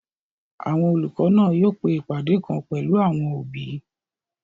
Àwọn olùkọ́ náà yóò pe ìpàdé kan pẹ̀lú àwọn òbí